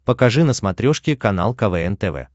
покажи на смотрешке канал квн тв